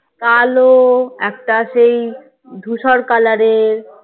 কালো একটা সেই ধূসর color এর